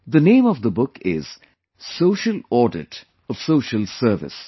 The name of the book is Social Audit of Social Service